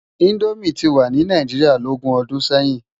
Indómi ti wá ni Náijiriá lógún òdún sèyin